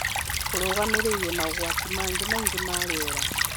Kũrũgamĩrĩire maũgwati mangĩ maingĩ ma riera